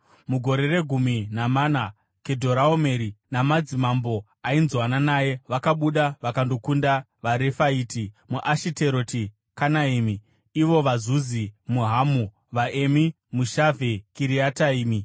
Mugore regumi namana, Kedhoraomeri namadzimambo ainzwanana naye vakabuda vakandokunda vaRefaiti muAshiteroti Kanaimi, ivo vaZuzi muHamu, vaEmi muShavhe Kiriataimi